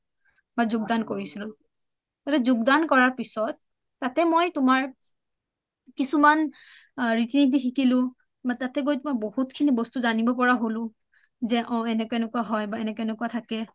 বা যোগদান কৰিছিলোঁ যোগদান কৰা পিছত তাতে মই তোমাৰ কিছুমান ৰিতিনিতি শিকিলোঁ তাতে গৈ বহুত খিনি বস্তু জানিব পাৰা হলোঁ যে অ এনেকুৱা এনেকুৱা হয় বা এনেকুৱা এনেকুৱা থাকে